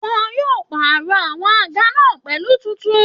Wọn yóò pàrọ̀ àwọn àga náà pẹ̀lú tuntun